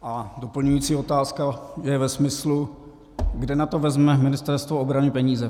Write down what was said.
A doplňující otázka je ve smyslu, kde na to vezme Ministerstvo obrany peníze.